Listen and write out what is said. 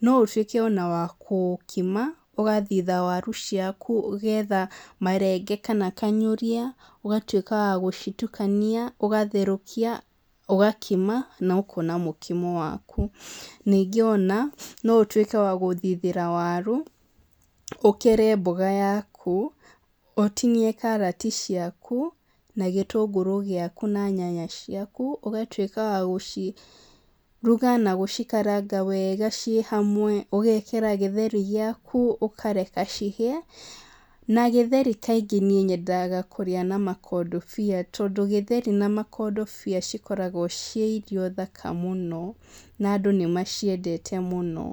No ũtuĩke ona wa kũkima, ũgathitha waru ciaku, ũgetha marenge kana kanyũria, ũgatuĩka wa gũcitukania, ũgatherũkia, ũgakima, na ũkona mũkimo waku. Ningĩ ona no ũtuĩke wa gũthithĩra waru, ũkere mboga yaku, ũtinie karati ciaku, na gĩtungũrũ ciaku na nyanya ciaku ũgatuĩka wa gũciruga na gũcikaranga wega ciĩ hamwe ũgekĩra gĩtheri gĩaku, ũkareka cihie, na gĩtheri kaingĩ niĩ nyendaga kũrĩa na makondobia tondũ gĩtheri na makondobia cikorogwo ciĩ irio thaka mũno, na andũ nĩmaciendete mũno.